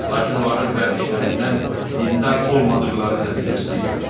Lakin onların vərdişlərindən dindar olmadıqları nəticəsinə gəlmişdi.